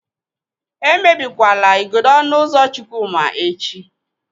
Emebikwala igodo ọnụ ụzọ Chukwuma echi.